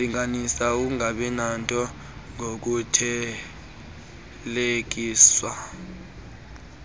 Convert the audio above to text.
ulinganisa ukungabinanto ngokuthelekiswa